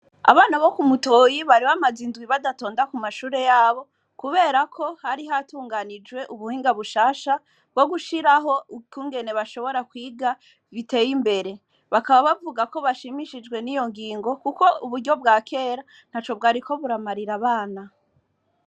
Abana bo ku mutoyi bari bamazinduwi badatonda ku mashure yabo, kubera ko hari hatunganijwe ubuhinga bushasha bwo gushiraho ikungene bashobora kwiga biteye imbere bakaba bavuga ko bashimishijwe n'iyo ngingo, kuko uburyo bwa kera na co bwariko buramarira abana.